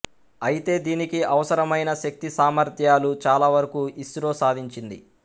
అయితే దీనికి అవసరమైన శక్తి సామర్ధ్యాలు చాలావరకు ఇస్రో సాధించింది